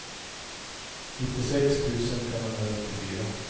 nittiosex tusen femhundranittiofyra